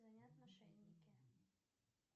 звонят мошенники